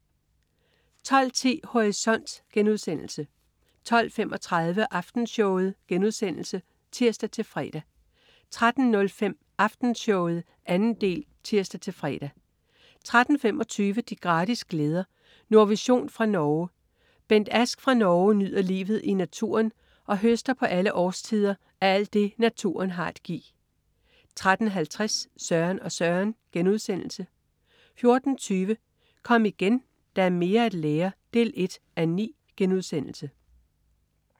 12.10 Horisont* 12.35 Aftenshowet* (tirs-fre) 13.05 Aftenshowet 2. del (tirs-fre) 13.25 De gratis glæder. Nordvision fra Norge. Bent Ask fra Norge nyder livet i naturen og høster på alle årstider af alt det, naturen har at give 13.50 Søren og Søren* 14.20 Kom igen, der er mere at lære 1:9*